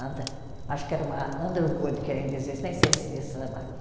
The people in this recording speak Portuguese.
Acho que era uma Underwood que ainda existe, nem sei se existe essa máquina.